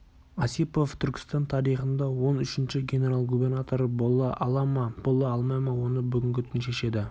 осипов түркістан тарихында он үшінші генерал-губернатор бола ала ма бола алмай ма оны бүгінгі түн шешеді